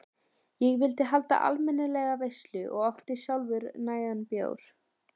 Ég vildi halda almennilega veislu og átti sjálfur nægan bjór.